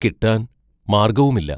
കിട്ടാൻ മാർഗവുമില്ല.